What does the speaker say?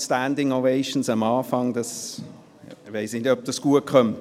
Ich weiss nicht, ob das gut kommt.